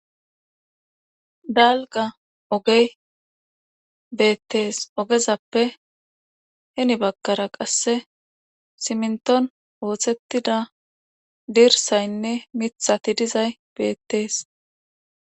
dalga ogey beettees ogezappe heni bagkara qasse siminton ooththettida dirsaynne mithati dizay beettees